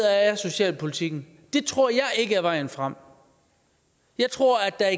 er socialpolitikken det tror jeg ikke er vejen frem jeg tror at der